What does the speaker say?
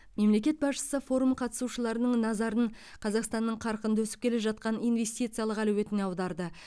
мемлекет басшысы форум қатысушыларының назарын қазақстанның қарқынды өсіп келе жатқан инвестициялық әлеуетіне аударды